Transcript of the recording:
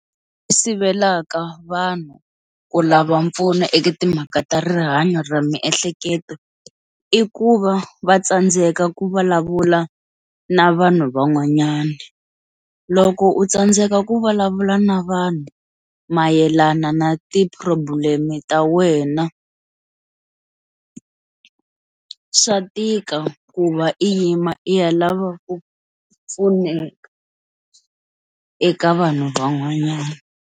Sivelaka vanhu ku lava mpfuno eka timhaka ta rihanyo ra miehleketo i ku va va tsandzeka ku vulavula na vanhu van'wanyana, loko u tsandzeka ku vulavula na vanhu mayelana na ti problem ta wena swa tika ku va i yima i ya lava ku pfuneka eka vanhu van'wanyana.